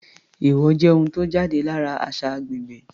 Èèwọ̀ jẹ́ ohun tó jáde lára àṣà agbègbè.